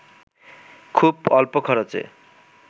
খুব অল্প খরচে